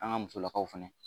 An ka musolakaw fɛnɛ